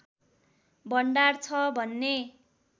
भण्डार छ भन्ने